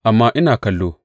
Amma ina kallo!